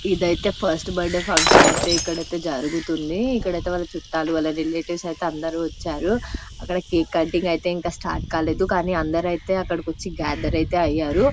ఇదైతే first birthday function ఐతే ఇక్కడైతే జరుగుతుంది ఇక్కడైతే వాళ్ళ చుట్టాలు వాళ్ళ రిలేటివ్స్ ఐతే అందరు వచ్చారు అక్కడ కేక్ కటింగ్ ఐతే ఇంకా స్టార్ట్ కాలేదు కానీ అందరైతే అక్కడకి వచ్చి గథెర్ ఐతే అయ్యారు